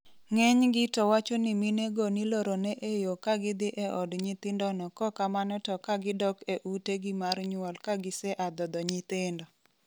ng'eny gi to wacho ni mine go nilorone e yoo kagidhi e od nyithindo no kokamano to kagidok e ute gi mar nyuol kagise a dhodho nyithindo